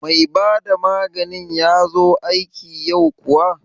Mai bada maganin ya zo aiki yau kuwa?